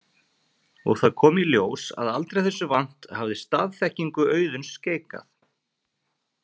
Og það kom í ljós að aldrei þessu vant hafði staðþekkingu Auðuns skeikað.